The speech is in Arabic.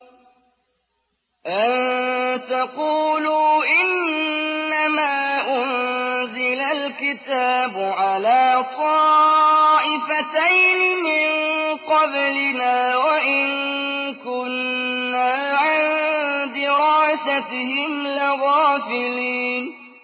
أَن تَقُولُوا إِنَّمَا أُنزِلَ الْكِتَابُ عَلَىٰ طَائِفَتَيْنِ مِن قَبْلِنَا وَإِن كُنَّا عَن دِرَاسَتِهِمْ لَغَافِلِينَ